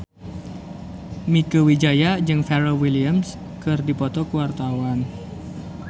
Mieke Wijaya jeung Pharrell Williams keur dipoto ku wartawan